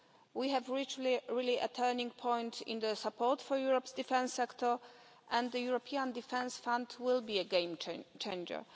We have reached a turning point in the support for Europe's defence sector, and the European Defence Fund will be a game-changer.